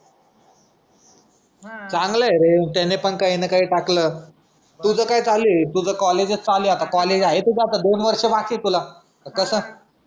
चांगला आहे रे त्याने पण काही ना काही टाकलं. तुझा काय चालू आहे तुझा कॉलेजचं चालू आहे कॉलेज चालू आहे आता दोन वर्ष बाकी आहे तुला. कसं.